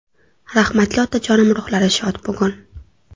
Rahmatli otajonim ruhlari shod bugun!